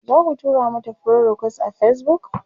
zaku tura mata friend request a Facebook?